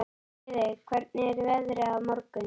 Friðey, hvernig er veðrið á morgun?